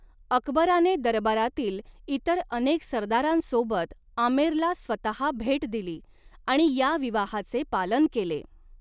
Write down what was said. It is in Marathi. अकबराने दरबारातील इतर अनेक सरदारांसोबत आमेरला स्वतः भेट दिली आणि या विवाहाचे पालन केले.